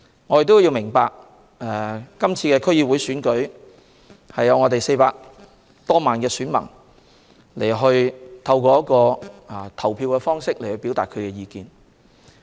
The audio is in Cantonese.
我們要明白，今次區議會選舉可讓400多萬名選民透過投票表達他們的意見。